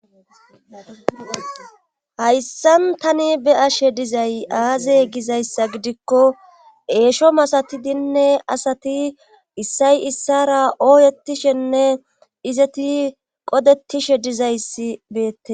hayssan tani be ashe dizay aaze gizayssa gidikko eesho masati dinne asati issay issara ooyetishenne izeti qodetishe dizayssi beette